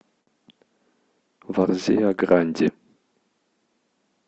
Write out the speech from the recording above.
варзеа гранди